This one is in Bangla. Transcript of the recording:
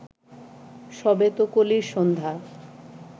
সবে তো কলির সন্ধ্যা